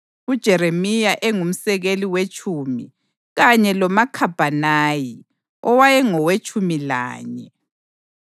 uJeremiya engumsekeli wetshumi kanye loMakhabhanayi owayengowetshumi lanye.